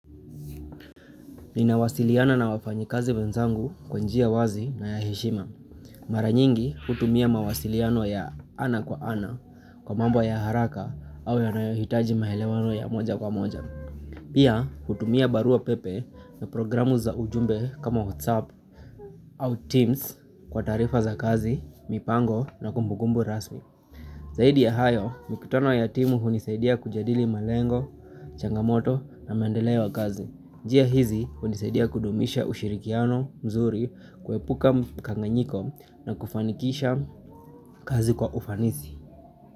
Ninawasiliana na wafanyikazi wenzangu kwa njia wazi na ya heshima. Mara nyingi hutumia mawasiliano ya ana kwa ana kwa mambo ya haraka au yanayohitaji maelewano ya moja kwa moja. Pia hutumia barua pepe na programu za ujumbe kama WhatsApp au Teams kwa taarifa za kazi, mipango na kumbukumbu rasmi. Zaidi ya hayo, mikutano ya timu hunisaidia kujadili malengo, changamoto na maendeleo kazi. Njia hizi hunisaidia kudumisha ushirikiano mzuri, kuepuka mkanganyiko na kufanikisha kazi kwa ufanisi.